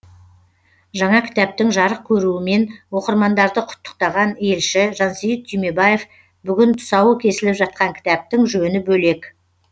жаңа кітаптың жарық көруімен оқырмандарды құттықтаған елші жансейіт түймебаев бүгін тұсауы кесіліп жатқан кітаптың жөні бөлек